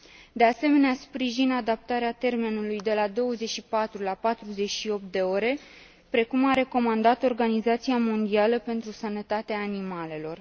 De asemenea, sprijin adaptarea termenului de la 24 la 48 de ore, precum a recomandat Organizația Mondială pentru Sănătatea Animalelor.